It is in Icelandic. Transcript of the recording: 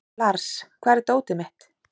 Lars, hvar er dótið mitt?